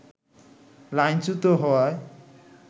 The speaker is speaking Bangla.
লাইনচ্যূত হওয়ায়